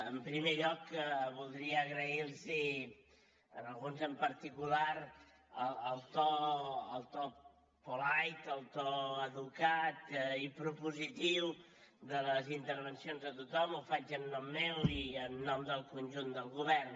en primer lloc voldria agrair los a alguns en particular el to polite el to educat i propositiu de les intervencions de tothom ho faig en nom meu i en nom del conjunt del govern